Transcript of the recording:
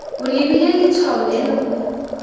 o lebile letshwao leno o